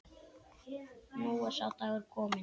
Nú er sá dagur kominn.